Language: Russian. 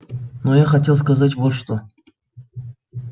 но я хотел сказать вот что